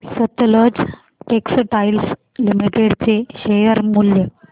Sutlej textiles limited चे share मूल्य